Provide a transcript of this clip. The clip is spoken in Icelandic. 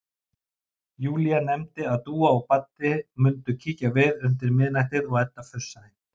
Júlía nefndi að Dúa og Baddi mundu kíkja við undir miðnættið og Edda fussaði.